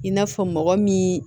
I n'a fɔ mɔgɔ min